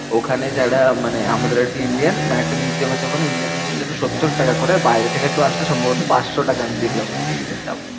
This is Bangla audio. ওখানে যারা মানে আমাদের আরকি Indian. মানে একটা museum এ যখন Indian দের জন্য সত্তর টাকা করে, বাইরে থেকে কেউ আসলে সম্ভবত পাঁচশো টাকা দেখলাম ওদের টিকিটের দাম।